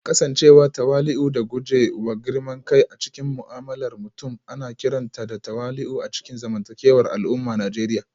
Kasancewa tawali'u da guje wa girman kai a cikin mu'amalar mutum ana kiranta da tawali'u a cikin zamantakewar al'ummar Najeriya